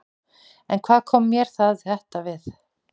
En hvað kom mér þetta við?